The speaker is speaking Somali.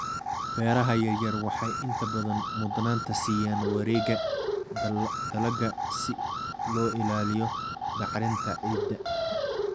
Beeraha yaryar waxay inta badan mudnaanta siiyaan wareegga dalagga si loo ilaaliyo bacrinta ciidda.